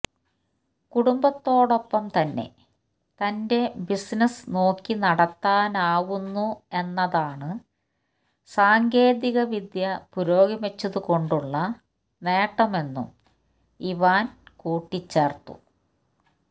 കുടുംബത്തോടൊപ്പംതന്നെ തന്റെ ബിസിനസ് നോക്കിനടത്താനാവുന്നു എന്നതാണ് സാങ്കേതികവിദ്യ പുരോഗമിച്ചതുകൊണ്ടുള്ള നേട്ടമെന്നും ഇവാന്ക കൂട്ടിച്ചേര്ത്തു